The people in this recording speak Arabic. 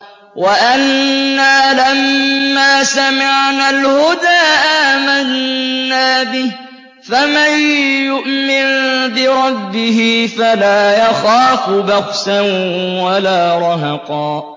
وَأَنَّا لَمَّا سَمِعْنَا الْهُدَىٰ آمَنَّا بِهِ ۖ فَمَن يُؤْمِن بِرَبِّهِ فَلَا يَخَافُ بَخْسًا وَلَا رَهَقًا